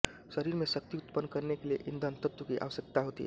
शरीर में शक्ति उत्पन्न करने के लिये ईंधन तत्व की आवश्यकता होती है